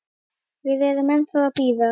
Við erum ennþá að bíða.